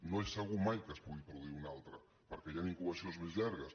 no és segur mai que se’n pugui produir un altre perquè hi han incubacions més llargues